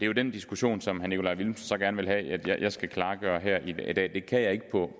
jo den diskussion som herre nikolaj villumsen så gerne vil have jeg skal klargøre her i dag det kan jeg ikke på